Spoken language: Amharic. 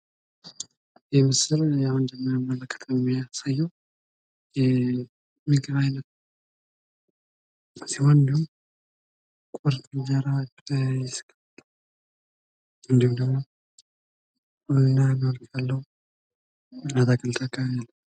ይህ ምስል የሚያሳየው የምግብ አይነት ሲሆን ቁርጥ እንጀራ ፣ ስጋ ቅቅል እና አትክልትም አለው።